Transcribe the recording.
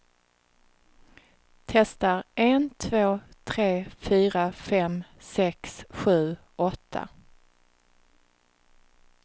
Testar en två tre fyra fem sex sju åtta.